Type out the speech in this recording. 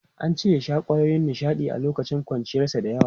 An ce ya sha kwayoyi na nishaɗi a lokacin ƙuruciyarsa da yawa.